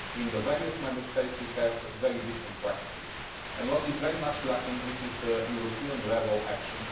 In the various Member States we have very different practices, and what is very much lacking is European level action.